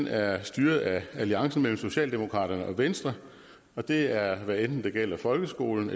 er styret af alliancen mellem socialdemokraterne og venstre og det er hvad enten det gælder folkeskolen